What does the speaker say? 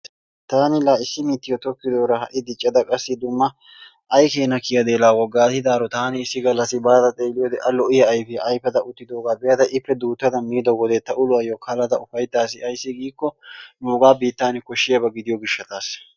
taani la issi mittiyo tokkidoora ha'i diccada qassi dumma ay keenna kiyadee laa wogaatidaaro taani issi galassi baada xeeliyode a lo''iya ayfiya ayfada uttidoogaa be'ada ippe duutta miido wode ta uluwayo kalada ufayttaasi ayssi giikko nuugaa biitani koshiyaba gidiyo gishatassa.